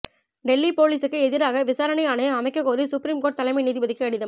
டெல்லி போலீசுக்கு எதிராக விசாரணை ஆணையம் அமைக்கக் கோரி சுப்ரீம்கோர்ட் தலைமை நீதிபதிக்கு கடிதம்